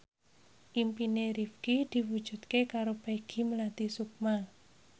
impine Rifqi diwujudke karo Peggy Melati Sukma